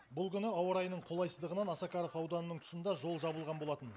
бұл күні ауа райының қолайсыздығынан осакаров ауданының тұсында жол жабылған болатын